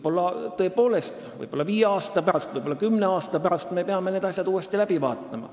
Tõepoolest, võib-olla viie või kümne aasta pärast me peame need asjad uuesti üle vaatama.